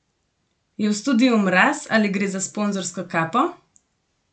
Je v studiu mraz ali gre za sponzorsko kapo?